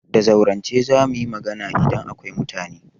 Da zaurance za mu yi magana idan akwai mutane.